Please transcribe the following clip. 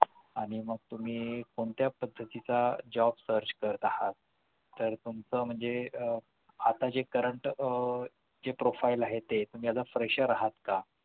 आणि मग तुम्ही कोणत्या पद्धतीचा jobsearch करत आहात तर तुमचं म्हणजे आह आता जे current आह जे profile आहे ते म्हणजे तुम्ही आता fresher आहात का